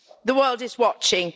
The world is watching.